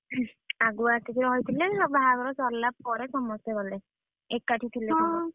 ଆଗୁଆ ଆସି ରହିଥିଲେ ସବୁ ବାହାଘର ସାରିଲା ପରେ ସମସ୍ତେ ଗଲେ। ଏକାଠି ଥିଲର ସମସ୍ତେ